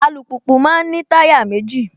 Alùpùpù máa ń ní táyà méjì